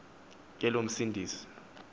ke lo msindisi